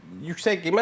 Yəni yüksək qiymət.